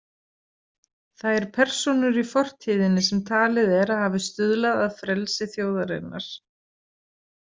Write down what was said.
Þær persónur í fortíðinni sem talið er að hafi stuðlað að frelsi þjóðarinnar.